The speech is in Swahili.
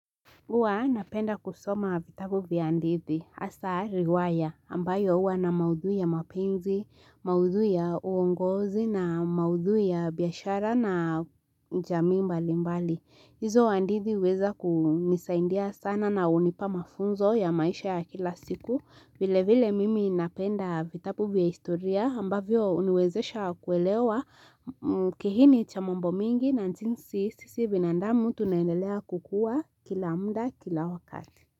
Huwa napenda kusoma vitabu vya hadithi hasa riwaya ambayo huwa na maudhui ya mapenzi, maudhui ya uongozi na maudhui ya biashara na jamii mbali mbali. Hizo hadithi huweza kunisaidia sana na hunipa mafunzo ya maisha ya kila siku vile vile mimi napenda vitabu vya historia ambavyo huniwezesha kuelewa kihini cha mambo mingi na jinsi sisi binadamu tunaendelea kukuwa kila muda kila wakati.